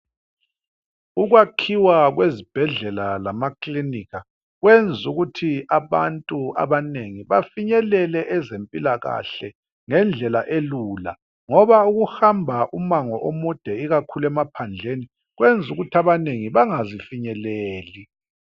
Ukwakhiwa kwezibhedlela lamakilinika kwenza ukuthi abantu abanengi bafinyelele ezempilakahle ngendlela elula ngoba ukuhamba umango omude ikakhulu emaphandleni kwenza ukuthi abanye bengazifinyeleli.